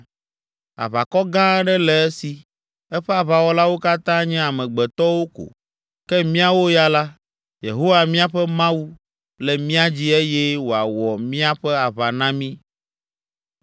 Aʋakɔ gã aɖe le esi, eƒe aʋawɔlawo katã nye amegbetɔwo ko, ke míawo ya la, Yehowa, míaƒe Mawu, le mía dzi eye wòawɔ míaƒe aʋa na mí.”